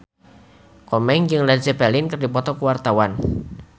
Komeng jeung Led Zeppelin keur dipoto ku wartawan